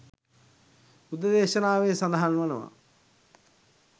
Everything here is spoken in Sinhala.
බුද්ධ දේශනාවේ සඳහන් වනවා.